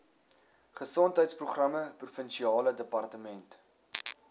gesondheidsprogramme provinsiale departement